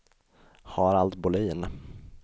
Harald Bolin